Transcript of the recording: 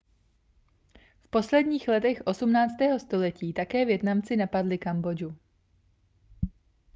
v posledních letech 18. století také vietnamci napadli kambodžu